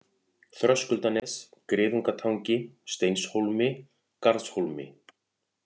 Þröskuldanes, Griðungatangi, Steinshólmi, Garðshólmi